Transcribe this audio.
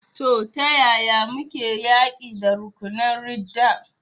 To, ta yaya muke yaƙi da rukunan ridda?